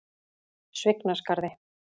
Svignaskarði